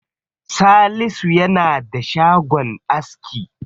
Salisu yana da shagon aski.